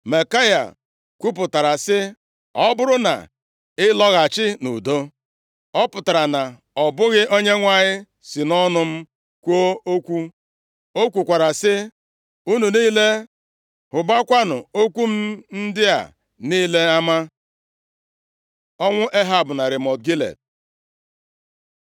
Maikaya kwupụtara sị, “Ọ bụrụ na ị lọghachi nʼudo, ọ pụtara na ọ bụghị Onyenwe anyị si nʼọnụ m kwuo okwu.” O kwukwara sị, “Unu niile, hụbakwanụ okwu m ndị a niile ama.” Ọnwụ Ehab na Ramọt Gilead